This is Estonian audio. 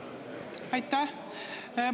Aitäh!